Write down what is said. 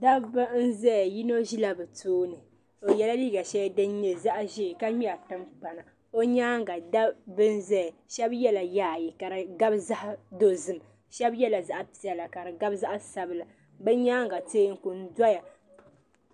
Dabba n zaya yino ʒe la bɛ tooni o yɛla liiga shɛli din nyɛ zaɣi ʒee ka ŋmɛri timpana o nyaaŋa dabba n zaya shɛba yɛla yaayɛ ka di gabi zaɣi dɔzim shɛba yɛla zaɣi piɛlla ka di gabi zaɣi sabila bɛ nyaaŋa tɛɛku n dɔya.